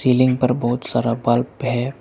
Ceiling पर बहोत सारा बल्ब है।